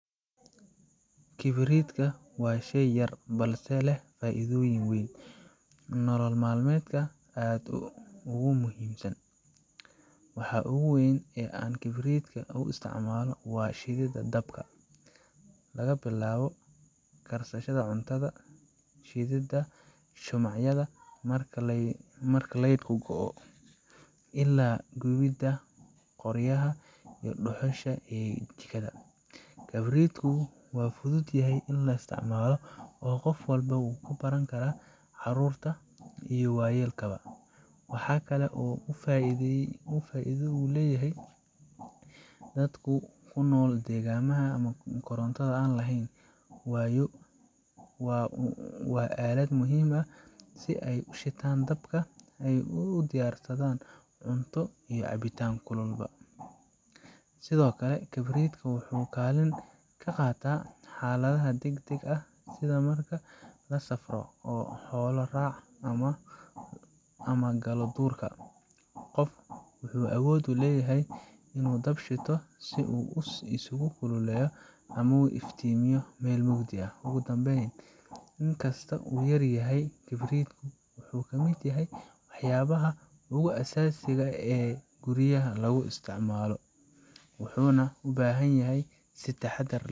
Kibriitka waa shay yar balse leh faa’iido weyn oo nolol maalmeedka aad ugu muhiimsan. Waxa ugu weyn ee aan kibriitka u isticmaalno waa shididda dabka laga bilaabo karsashada cuntada, shididda shumacyada marka laydhku go’o, illaa gubidda qoryaha ama dhuxusha ee jikada. Kibriitku waa fududahay in la isticmaalo oo qof walba wuu baran karaa, carruurta iyo waayeelkuba. Waxa kale oo uu faa’iido u leeyahay dadka ku nool deegaannada aan koronto lahayn waayo waa aalad muhiim ah si ay u shitaan dabka una diyaarsadaan cunto iyo cabitaan kulul ba. Sidoo kale, kibriitka waxa uu kaalin ka qaataa xaaladaha degdegga ah, sida marka la safro, la xoolo raaco ama la galo duurka qofka wuxuu awood u leeyahay inuu dab shito si uu isugu kululeeyo ama u iftiimiyo meel mugdi ah. Ugu dambeyn, in kastoo uu yar yahay, kibriitku wuxuu ka mid yahay waxyaabaha ugu aasaasiga ah ee guryaha laga isticmaalo, wuxuuna u baahan yahay in si taxaddar leh.